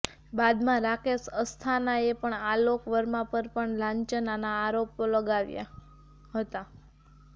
બાદમાં રાકેશ અસ્થાનાએ પણ આલોક વર્મા પર પણ લાંચના આરોપો લગાવ્યા હતા